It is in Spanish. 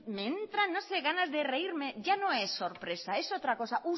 me entra no sé ganas de reírme ya no es sorpresa es otra cosa